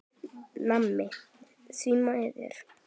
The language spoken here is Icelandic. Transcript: Nammi, því miður.